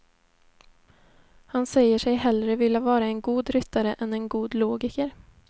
Han säger sig hellre vilja vara en god ryttare än en god logiker.